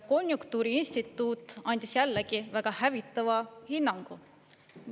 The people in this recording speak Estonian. Konjunktuuriinstituut andis jällegi väga hävitava hinnangu.